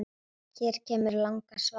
Hér kemur langa svarið